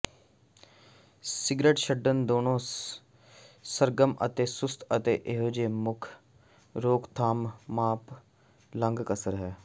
cigarette ਛੱਡਣ ਦੋਨੋ ਸਰਗਰਮ ਅਤੇ ਸੁਸਤ ਅਜੇ ਵੀ ਮੁੱਖ ਰੋਕਥਾਮ ਮਾਪ ਲੰਗ ਕਸਰ ਹੈ